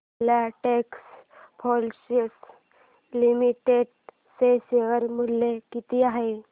Filatex fashions limited चे share मूल्य किती आहे